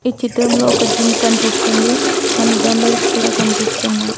ఈ చిత్రంలో ఒక జిమ్ కనిపిస్తుంది. కొన్ని డంబుల్స్ కూడా కనిపిస్తున్నాయ్.